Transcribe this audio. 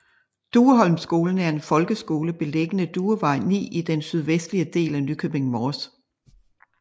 Dueholmskolen er en folkeskole beliggende Duevej 9 i den sydvestlige del af Nykøbing Mors